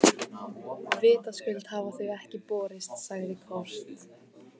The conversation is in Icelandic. Vitaskuld hafa þau ekki borist, sagði Kort.